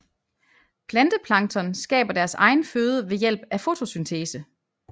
Planteplankton skaber deres egen føde ved hjælp af fotosyntese